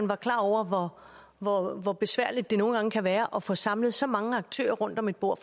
var klar over hvor hvor besværligt det nogle gange kan være at få samlet så mange aktører rundt om et bord